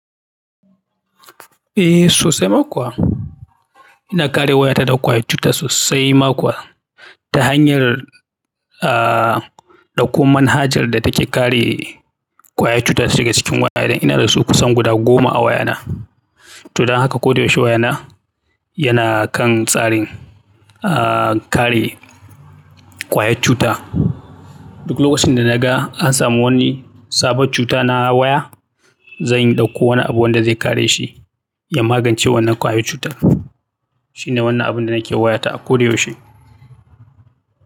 Eh sosai ma kuwa. Ina kare wayata daga ƙwayar cuta sosai ma kuwa ta hanyar, ah, ɗauko manhajar da take kare ƙwayar cuta ta shiga cikin wayana. Ina da su kusan guda goma a wayana. To don haka koda yaushe wayana yana kan tsarin, ah, kare ƙwayar cuta. Duk lokacin da na ga an samu wani sabon cuta na waya, zan ɗauko wani abu wanda zai kare shi ya magance wannan ƙwayar cutar. Shine wannan abun da nake wayata a koyaushe.